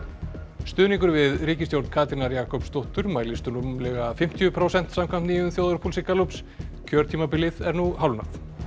stuðningur við ríkisstjórn Katrínar Jakobsdóttur mælist rúmlega fimmtíu prósent samkvæmt nýjum þjóðarpúlsi Gallups kjörtímabilið er nú hálfnað